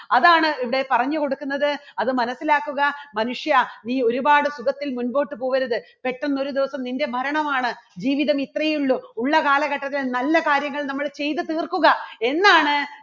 അതാണ് ഇവിടെ പറഞ്ഞു കൊടുക്കുന്നത് അത് മനസ്സിലാക്കുക മനുഷ്യ നീ ഒരുപാട് സുഖത്തിൽ മുമ്പോട്ട് പോകരുത്. പെട്ടെന്ന് ഒരു ദിവസം നിൻറെ മരണമാണ് ജീവിതം ഇത്രയേ ഉള്ളൂ ഉള്ള കാലഘട്ടത്തിൽ നല്ല കാര്യങ്ങൾ നമ്മൾ ചെയ്തു തീർക്കുക എന്നാണ്